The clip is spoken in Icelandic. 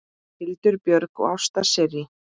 Hildur Björg og Ásta Sirrí.